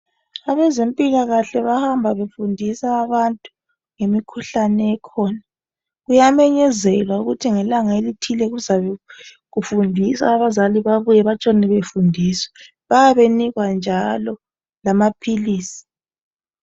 Abezempilakahle bahamba befundisa abantu ngemikhuhlane ekhona. Kuyamenyezelwa ukuthi ngelanga elithile kuzabe kufundiswa abazali babuye betshone befundiswa. Bayabe benikwa njalo lamaphilisi.